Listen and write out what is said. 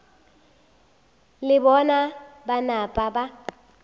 le bona ba napa ba